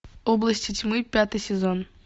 области тьмы пятый сезон